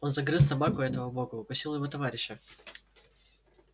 он загрыз собаку этого бога укусил его товарища